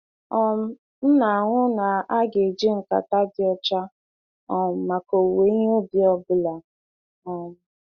um M na-ahụ na aga-eji nkata dị ọcha um maka owuwe ihe ubi ọ bụla. um